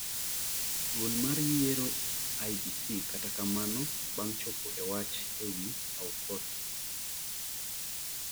duol mar yiero IEBC kata kamano ,bang' chopo e wach ewi Aukot